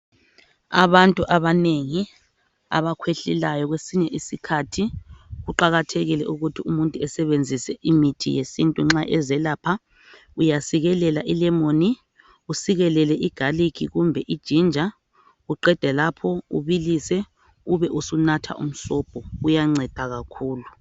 Abantu abanengi, abakhwehlelayo, kwesinye isikhathi kuqakathekile ukuthi umuntu esebenzise imithi yesintu nxa ezelapha. Uyasikelela ilemoni, usikelele igarlic kumbe iginger. Uqede lapho ubilise. Ube usunatha umsobho. Uyanceda kakhulu!